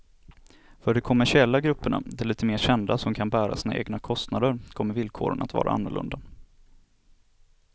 För de kommersiella grupperna, de lite mer kända som kan bära sina egna kostnader kommer villkoren att vara annorlunda.